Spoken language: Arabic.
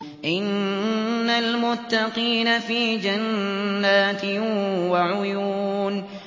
إِنَّ الْمُتَّقِينَ فِي جَنَّاتٍ وَعُيُونٍ